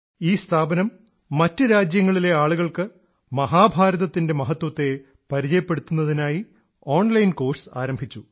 ഈ സ്ഥാപനം മറ്റു രാജ്യങ്ങളിലെ ആളുകൾക്ക് മഹാഭാരതത്തിൻറെ മഹത്വത്തെ പരിചയപ്പെടുത്തുന്നതിനായി ഓൺലൈൻ കോഴ്സ് ആരംഭിച്ചു